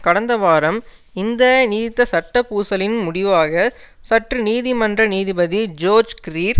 கடந்த வாரம் இந்த நீடித்த சட்ட பூசலின் முடிவாக சுற்று நீதிமன்ற நீதிபதி ஜோர்ஜ் கிரீர்